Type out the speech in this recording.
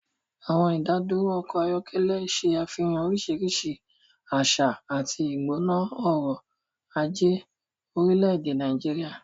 Àwọn ìdádúró ọkọ̀ ayọ́kẹ́lẹ́ ṣe àfihàn oríṣiríṣi àṣà àti ìgbóná ọrọ̀ ajé orílẹ̀-èdè Nàìjíríà.